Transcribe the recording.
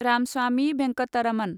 Ramaswamy Venkataraman